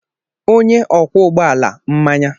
Onye ọkwọ ụgbọ ala mmanya.